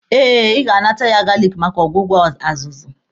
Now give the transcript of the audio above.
Eh, Ị ga-anata ya galiki maka ọgwụgwọ azụzụ.